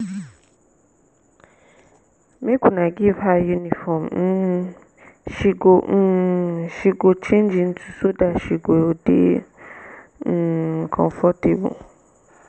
make una give her uniform um she go um she go change into so dat she go dey um comfortable